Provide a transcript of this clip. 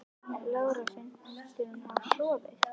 Lára: Finnst þér hún hafa sofið?